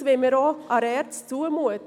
Das wollen wir der ERZ auch zumuten.